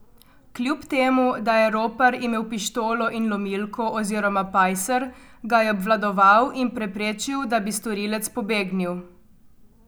Kljub temu, da je ropar imel pištolo in lomilko oziroma pajser, ga je obvladal in preprečil, da bi storilec pobegnil.